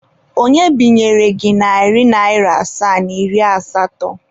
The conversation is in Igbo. Onye binyere gị narị naịra asaa na iri asatọ?